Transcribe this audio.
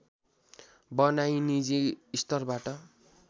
बनाई निजी स्तरबाट